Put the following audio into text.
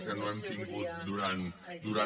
que no hem tingut durant